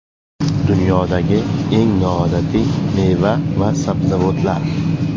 Dunyodagi eng noodatiy meva va sabzavotlar.